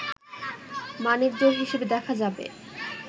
মানিকজোড় হিসেবে দেখা যাবে